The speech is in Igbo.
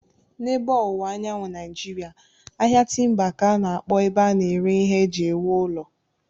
N'ebe Ọwụwa Anyanwụ Naịjiria, ahịa timba ka a na-akpọ ebe a na-ere ihe eji ewu ụlọ.